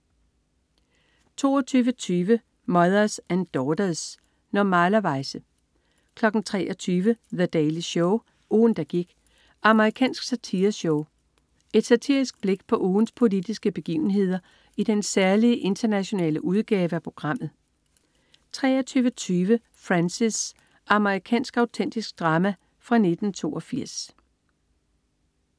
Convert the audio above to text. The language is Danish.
22.20 Mothers and Daughters. Normalerweize 23.00 The Daily Show. Ugen, der gik. Amerikansk satireshow. Et satirisk blik på ugens politiske begivenheder i den særlige internationale udgave af programmet 23.20 Frances. Amerikansk autentisk drama fra 1982